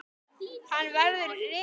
Hann verður rifinn.